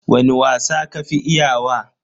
Wani wasa ka fi iya wa?